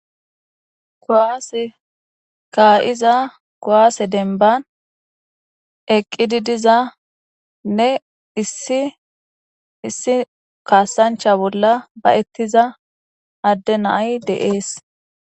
Kuwase kaa7iza kowaase denban eqqidi diza nne isiissi kaassancha bolla ba ettiza adde nay deees